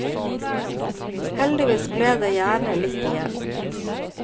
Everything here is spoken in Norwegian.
Heldigvis ble det gjerne litt igjen.